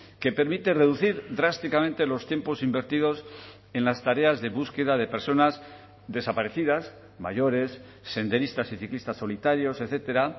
que permite reducir drásticamente los tiempos invertidos en las tareas de búsqueda de personas desaparecidas mayores senderistas y ciclistas solitarios etcétera